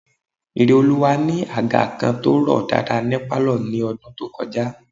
Ireoluwa ni àga kan tó rọ̀ dáadáa ní pálọ̀ ní ọdún tó kọjá